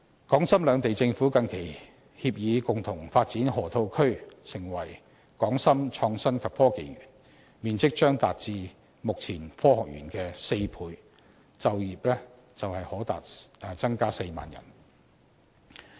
港深兩地政府近期協議共同發展河套區成為港深創新及科技園，面積將達至目前科學園的4倍，就業機會可達至4萬人。